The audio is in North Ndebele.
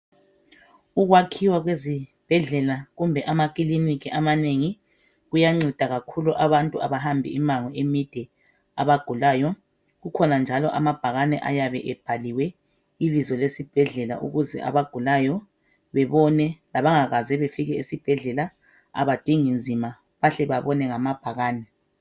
Ukwakhiwa kwezibhedlela kumbe amakiliniki amanengi kuyanceda kakhulu abantu abahamba imango emide abagulayo. Kukhona njalo amabhakani ayabe ebhaliwe ibizo lesibhedlela ukuze abagulayo bebone labangakaze befike esibhedlela abadingi nzima. Bahle babone ngamabhakani.